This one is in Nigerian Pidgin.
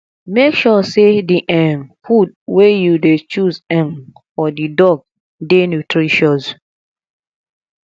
make sure sey di um food wey you dey choose um for di dog dey nutritious